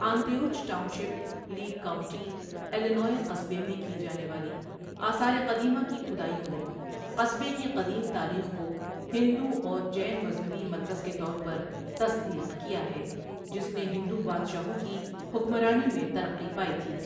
Antioch township, Lake County, Illinois قصبے میں کی جانے والی آثار قدیمہ کی کھدائیوں نے قصبے کی قدیم تاریخ کو ہندو اور جین مذہبی مرکز کے طور پر تصدیق کیا ہے، جس نے ہندو بادشاہوں کی حکمرانی میں ترقی پائی تھی۔